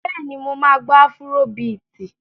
Bẹ́ẹ̀ni, mo máa gbọ́ afúró biìtì.